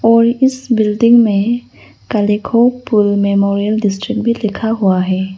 और इस बिल्डिंग में कालिखो पुल मेमोरियल डिस्ट्रिक्ट भी लिखा हुआ है।